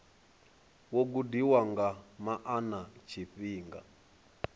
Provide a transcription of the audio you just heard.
wo gudiwa nga maana tshifhinga